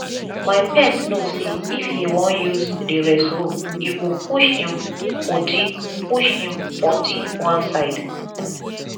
my pet know say if he wan use the rest room he go push im pottie push im pottie one side